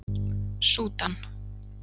Súdan